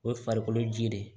O ye farikolo ji de ye